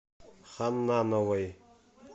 ханнановой